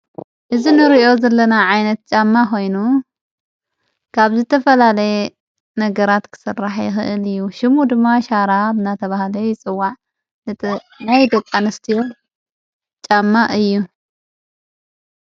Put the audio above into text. እዝ ንርእዮ ዘለና ዓይነት ጫማ ኾይኑ ጋብ ዘተፈላለየ ነገራት ክሠራሕ ህእል እዩ ።ሽሙ ድማ ሻራ ኣብ ናተብሃለ ይፅዋዕ ነጥ ናይ ደቃንስትዮ ጫማ እዩ ።